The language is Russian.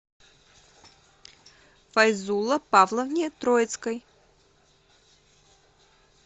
файзулло павловне троицкой